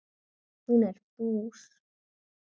Hún er bús.